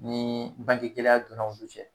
Nii bangetigi kelenya donnaw olu cɛ